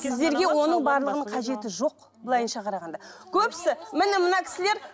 сіздерге оның барлығының қажеті жоқ былайынша қарағанда көбісі міне мына кісілер